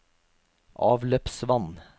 avløpsvann